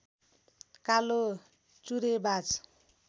कालो जुरेबाज